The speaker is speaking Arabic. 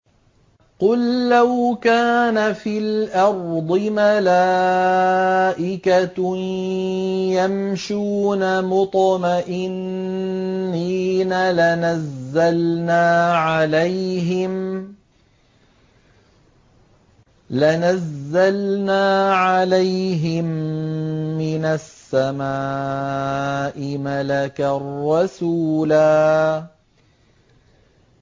قُل لَّوْ كَانَ فِي الْأَرْضِ مَلَائِكَةٌ يَمْشُونَ مُطْمَئِنِّينَ لَنَزَّلْنَا عَلَيْهِم مِّنَ السَّمَاءِ مَلَكًا رَّسُولًا